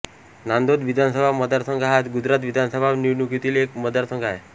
नांदोद विधानसभा मतदारसंघ हा गुजरात विधानसभा निवडणुकीतील एक मतदारसंघ आहे